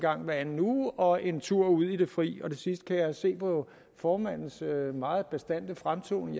anden uge og en tur ud i det fri det sidste kan jeg se på formandens meget bastante fremtoning